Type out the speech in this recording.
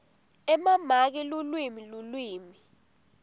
emamaki lulwimi lulwimi